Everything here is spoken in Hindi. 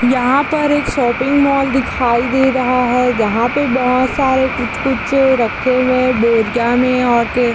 यहाँ पर एक शॉपिंग मॉल दिखाई दे रहा है जहाँ पे बहुत सारे कुछ कुछ रखे हुए हैं बोरिया में और --